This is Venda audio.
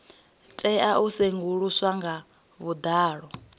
tea u sedzuluswa nga vhuḓalo